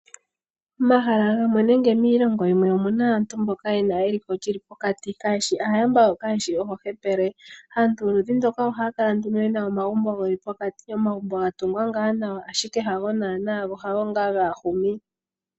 Omahala gamwe nenge miilongo yimwe omuna aantu mboka yena eliko lyili pokati kayeshi aayamba yo kayeshi oohepele. Aantu yoludhi ndoka ohaya kala nduno yena omagumbo geli pokati, omagumbo ga tungwa ngaa nawa ashike hago naana go hago ngaa gaahumi.